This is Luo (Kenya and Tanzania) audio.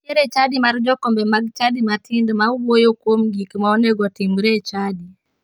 Nitiere chadi mar jokombe mag chadi matindo ma wuoyo kuom gik ma onegotimre e chadi.